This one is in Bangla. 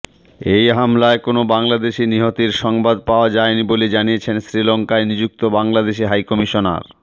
এ হামলায় কোনো বাংলাদেশি নিহতের সংবাদ পাওয়া যায়নি বলে জানিয়েছেন শ্রীলঙ্কায় নিযুক্ত বাংলাদেশি হাইকমিশনার